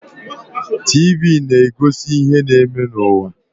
TV na-egosi ihe na-eme n'ụwa.